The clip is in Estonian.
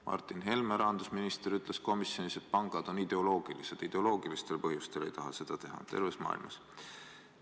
Rahandusminister Martin Helme ütles komisjonis, et pangad on ideoloogilised – nad ideoloogilistel põhjustel ei taha seda teha – ja nii terves maailmas.